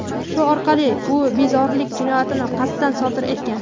Shu orqali u bezorilik jinoyatini qasddan sodir etgan.